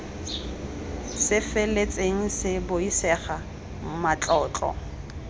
se feletseng se buisega matlotlo